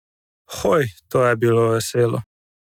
Hoj, to je bilo veselo!